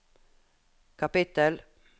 kapittel